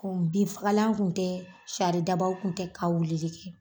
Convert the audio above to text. N bin fagalan tun tɛ saridabaw tun tɛ ka wulili kɛ.